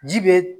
Ji be